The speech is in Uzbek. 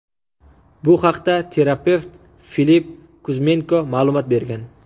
Bu haqda terapevt Filipp Kuzmenko ma’lumot bergan.